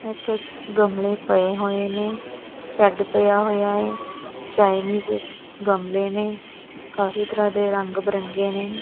ਇੱਥੇ ਗਮਲੇ ਪਏ ਹੋਏ ਨੇਂ ਸ਼ੈੱਡ ਪਿਆ ਹੋਇਆ ਹੈ ਚਾਈਨੀਜ਼ ਗਮਲੇ ਨੇਂ ਕਾਫੀ ਤਰਹਾਂ ਦੇ ਰੰਗ ਬਿਰੰਗੇ ਨੇਂ।